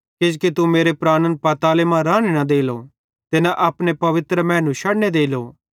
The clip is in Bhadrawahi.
किजोकि तू मेरे प्राणन पाताले मां राने न देलो ते न अपने पवित्र मैनू शड़ने देलो